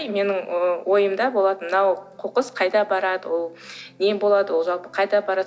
и менің ойымда болатын мынау қоқыс қайда барады ол не болады ол жалпы қайда барады